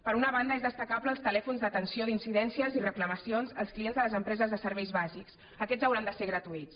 per una banda és destacable els telèfons d’atenció d’incidències i reclamacions als clients de les empreses de serveis bàsics aquests hauran de ser gratuïts